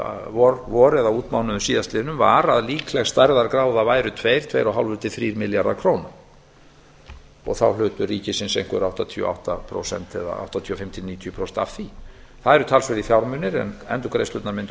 vor eða á útmánuðum síðastliðnum var að líkleg stærðargráða væri tveir tveir og hálfur til þrír milljarðar króna og hlutur ríkisins þá áttatíu og fimm til níutíu prósent af því það eru talsverðir fjármunir en endurgreiðslurnar mundu